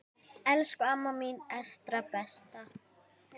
Elsku amma mín Esta besta.